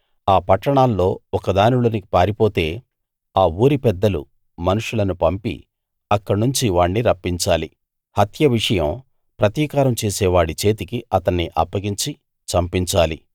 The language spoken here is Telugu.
ఆ పట్టణాల్లో ఒక దానిలోకి పారిపోతే ఆ ఊరిపెద్దలు మనుషులను పంపి అక్కడనుంచి వాణ్ణి రప్పించాలి హత్య విషయం ప్రతీకారం చేసేవాడి చేతికి అతన్ని అప్పగించి చంపించాలి